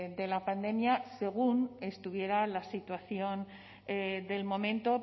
de la pandemia según estuviera la situación del momento